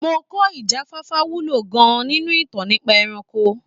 Mo kọ́ ìjáfáfá wúlò gan-an nínú ìtàn nípa ẹranko.